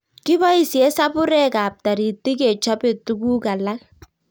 Kipoisie sapurek ap taritik kechope tuguk alak